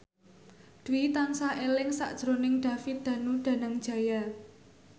Dwi tansah eling sakjroning David Danu Danangjaya